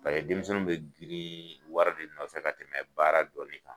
A ye denmisɛnninw bɛ girin wari de nɔfɛ fɛ ka tɛmɛ baara dɔɔnni kan